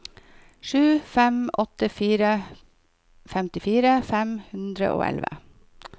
sju fem åtte fire femtifire fem hundre og elleve